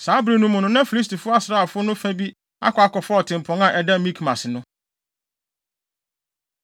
Saa bere no mu, na Filistifo asraafo no fa bi akɔ akɔfa ɔtempɔn a ɛda Mikmas no.